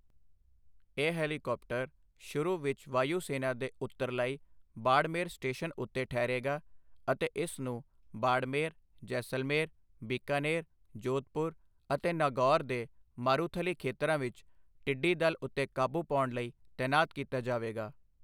ਇਹ ਹੈਲੀਕੌਪਟਰ ਸ਼ੁਰੂ ਵਿੱਚ ਵਾਯੂ ਸੈਨਾ ਦੇ ਉੱਤਰਲਾਈ, ਬਾੜਮੇਰ ਸਟੇਸ਼ਨ ਉੱਤੇ ਠਹਿਰੇਗਾ ਅਤੇ ਇਸ ਨੂੰ ਬਾੜਮੇਰ, ਜੈਸਲਮੇਰ, ਬੀਕਾਨੇਰ, ਜੋਧਪੁਰ ਅਤੇ ਨਾਗੌਰ ਦੇ ਮਾਰੂਥਲੀ ਖੇਤਰਾਂ ਵਿੱਚ ਟਿੱਡੀ ਦਲ ਉੱਤੇ ਕਾਬੂ ਪਾਉਣ ਲਈ ਤੈਨਾਤ ਕੀਤਾ ਜਾਵੇਗਾ